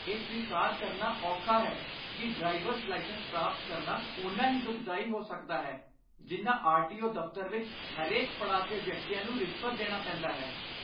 ਇਹ ਸਵੀਕਾਰ ਕਰਨਾ ਔਖਾ ਹੈ ਕਿ ਡ੍ਰਾਈਵਰਜ਼ ਲਾਇਸੈਂਸ ਪ੍ਰਾਪਤ ਕਰਨਾ ਓਨਾ ਹੀ ਦੁਖਦਾਈ ਹੋ ਸਕਦਾ ਹੈ ਜਿੰਨਾ ਆਰ.ਟੀ.ਓ. ਦਫ਼ਤਰ ਵਿੱਚ ਹਰੇਕ ਪੜਾਅ 'ਤੇ ਵਿਅਕਤੀਆਂ ਨੂੰ ਰਿਸ਼ਵਤ ਦੇਣਾ ਪੈਂਦਾ ਹੈ।